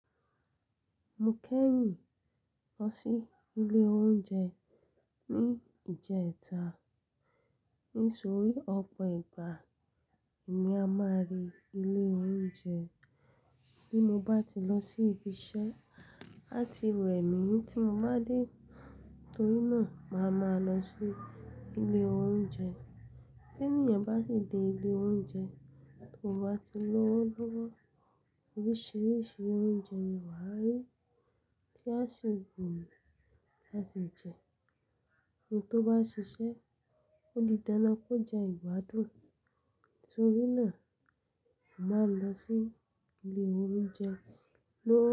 Mo kẹ́yìn lọ sí ilé oúnjẹ ní ìjẹta nítorí ọ̀pọ̀ ìgbà èmi a máa rí ilé oúnjẹ bí mo bá ti lọ sí ibi iṣẹ́ a ti rẹ̀ mí tí mo bá dé torí náà màá ma lọ sí ilé oúnjẹ. Bí ènìyàn bá sì dé ilé oúnjẹ tó bá ti lówó lówó oríṣiríṣi oúnjẹ ni wà á rí tí a ṣe wù yan láti jẹ. Ẹni tó bá ṣiṣẹ́ ó di dándán kó jẹ ìgbádùn nítorí náà mo màá n lọ sí ilé oúnjẹ lóó.